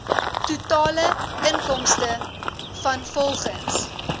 totale inkomste vanrvolgens